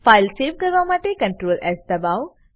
file save કરવા માટે ctrl S દબાઓ